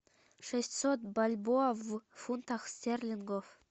шестьсот бальбоа в фунтах стерлингов